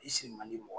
I si man di mɔgɔ